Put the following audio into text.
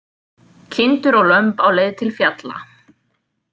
Kindur og lömb á leið til fjalla.